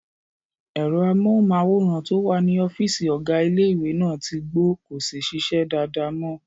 Ẹ̀rọ amóhùnmáwòrán tó wà ní ọ́fìsì ọ̀gá ilé-ìwé náà tí gbó, kò sí ṣíṣe dáadáa mọ